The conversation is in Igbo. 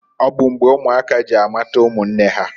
Ọ bụ mgbe ụmụaka ji amata ụmụnne ha.